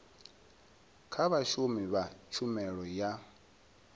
kha vhashumi vha tshumelo ya